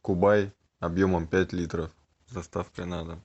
кубай объемом пять литров с доставкой на дом